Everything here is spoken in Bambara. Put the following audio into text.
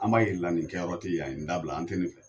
An b'a yira ila nin kɛyɔrɔ te yan ye ni da bila an tɛ nin fɛ